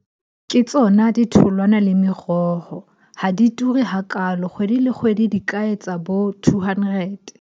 Ke tsona ditholwana le meroho, ha di ture hakalo. Kgwedi le kgwedi di ka etsa bo two hundred.